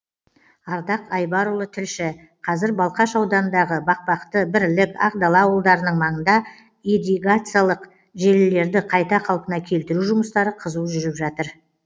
ардақ айбарұлы тілші қазір балқаш ауданындағы бақбақты бірлік ақдала ауылдарының маңында ирригациялық желілерді қайта қалпына келтіру жұмыстары қызу жүріп жатыр